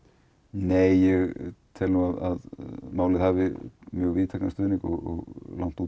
nei ég tel að málið hafi víðtækan stuðning og langt út